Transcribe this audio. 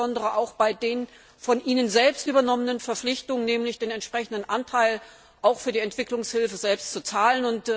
insbesondere auch bei den von ihnen selbst übernommenen Verpflichtungen, nämlich den entsprechenden Anteil für die Entwicklungshilfe selbst zu zahlen.